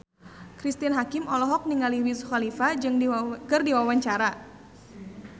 Cristine Hakim olohok ningali Wiz Khalifa keur diwawancara